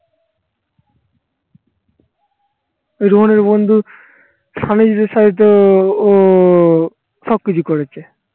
রনির বন্ধু স্বামীজীর সাথে তো ও সব কিছু করেছে